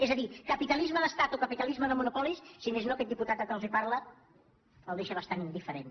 és a dir capitalisme d’estat o capitalisme de monopolis si més no a aquest diputat que els parla el deixa bastant indiferent